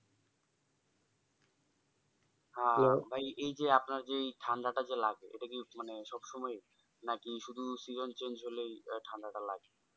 হ্যাঁ ভাই এই যে আপনার যেই ঠান্ডা তা যেই লাগে এটা কি মানে সব সময় নাকি শুধু season চেঞ্জ হলেই ঠান্ডাটা লা।